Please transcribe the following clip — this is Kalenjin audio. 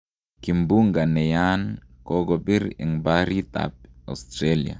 kimbunga neyaan kokopir en parit ap Australia